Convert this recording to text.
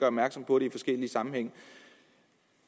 opmærksom på det i forskellige sammenhænge